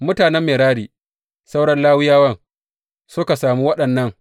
Mutanen Merari sauran Lawiyawan suka sami waɗannan.